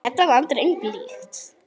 Þetta land er engu líkt.